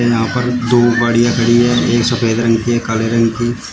यहां पर दो गाड़ियां खड़ी है एक सफेद रंग की एक काले रंग की।